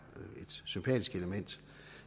et sympatisk element